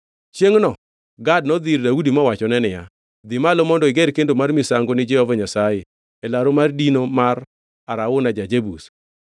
Chiengʼno Gad nodhi ir Daudi mowachone niya, “Dhi malo mondo iger kendo mar misango ni Jehova Nyasaye e laru mar dino mar Arauna ja-Jebus.”